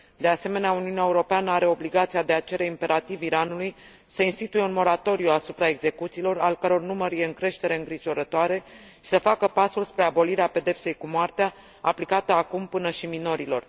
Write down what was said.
De asemenea, Uniunea Europeană are obligația de a cere imperativ Iranului să instituie un moratoriu asupra execuțiilor, al căror număr este în creștere îngrijorătoare, și să facă pasul spre abolirea pedepsei cu moartea, aplicată acum până și minorilor.